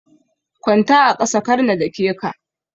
Kwanta a ƙasa karna dake ka.